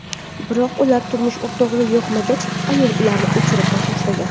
Biroq ular turmush o‘rtog‘iga yoqmagach, ayol ularni o‘chirib tashlagan.